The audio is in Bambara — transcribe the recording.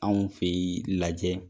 Anw fɛ yen lajɛ